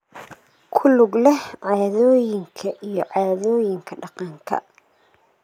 ku lug leh caadooyinka iyo caadooyinka dhaqanka.